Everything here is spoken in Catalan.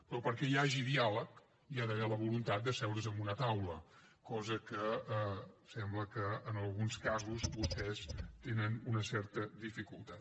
però perquè hi hagi diàleg hi ha d’haver la voluntat d’asseure’s en una taula cosa que sembla que en alguns casos vostès tenen una certa dificultat